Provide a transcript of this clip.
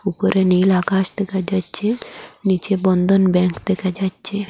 উপরে নীল আকাশ দেখা যাচ্ছে নীচে বন্ধন ব্যাঙ্ক দেখা যাচ্ছে।